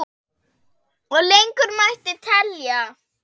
Og lengur mætti telja.